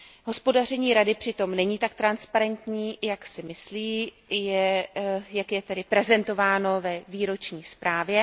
Hospodaření Rady přitom není tak transparentní, jak si Rada myslí, jak je tedy prezentováno ve výroční zprávě.